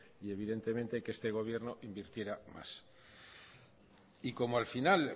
y evidentemente que este gobierno invirtiera más como al final